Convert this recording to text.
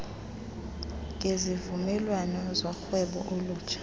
ngezivumelwano zorhwebo olutsha